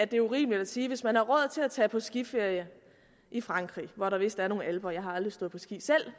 det er urimeligt at sige at hvis man har råd til at tage på skiferie i frankrig hvor der vist er nogle alper jeg har aldrig stået på ski selv